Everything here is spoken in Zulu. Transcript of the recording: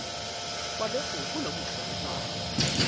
kwaloku kunobuhle nobubi